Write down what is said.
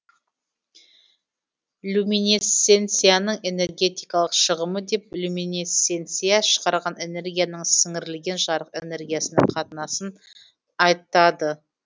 люминесценцияның энергетикалық шығымы деп люминесценция шығарған энергияның сіңірілген жарық энергиясына қатынасын айтады